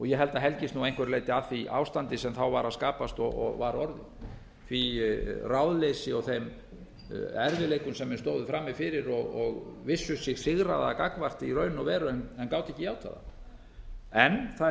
ég held að helgist nú að einhverju leyti af því ástandi sem var að skapast og var orðið því ráðleysi og þeim erfiðleikum sem menn stóðu frammi fyrir og vissu sig sigraða gagnvart í raun og veru en gátu ekki játað það en það er rétt